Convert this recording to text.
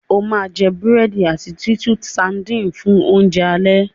o ma jé burẹdi àti Titus sardines fun Oúnjẹ alẹ́!